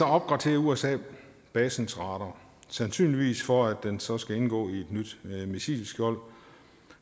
opgraderer usa basens radar sandsynligvis for at den så skal indgå i et nyt missilskjold